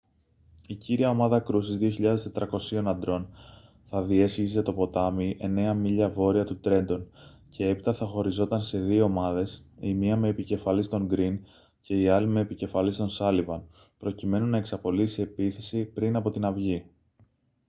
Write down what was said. η κύρια ομάδα κρούσης 2.400 αντρών θα διέσχιζε το ποτάμι εννέα μίλια βόρεια του τρέντον και έπειτα θα χωριζόταν σε δύο ομάδες η μία με επικεφαλής τον γκριν και η άλλη με επικεφαλής τον σάλιβαν προκειμένου να εξαπολύσει επίθεση πριν από την αυγή